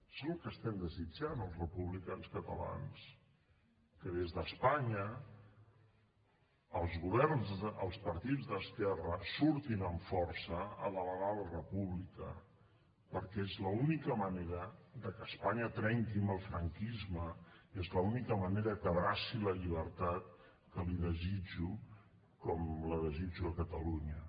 és el que estem desitjant els republicans catalans que des d’espanya els partits d’esquerra surtin amb força a demanar la república perquè és l’única manera de que espanya trenqui amb el franquisme és l’única manera que abraci la llibertat que l’hi desitjo com la desitjo a catalunya